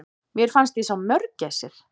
Mér fannst ég sjá mörgæsir!